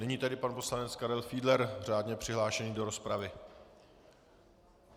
Nyní tedy pan poslanec Karel Fiedler, řádně přihlášený do rozpravy.